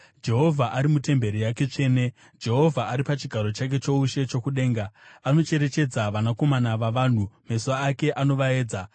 Jehovha ari mutemberi yake tsvene; Jehovha ari pachigaro chake choushe chokudenga. Anocherechedza vanakomana vavanhu; meso ake anovaedza.